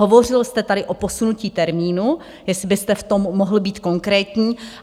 Hovořil jste tady o posunutí termínu, jestli byste v tom mohl být konkrétní.